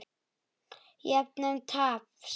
Jöfnun taps.